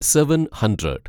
seven hundred